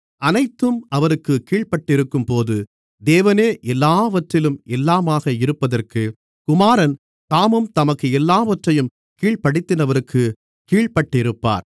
அனைத்தும் அவருக்குக் கீழ்ப்பட்டிருக்கும்போது தேவனே எல்லாவற்றிலும் எல்லாமாக இருப்பதற்கு குமாரன் தாமும் தமக்கு எல்லாவற்றையும் கீழ்ப்படுத்தினவருக்குக் கீழ்ப்பட்டிருப்பார்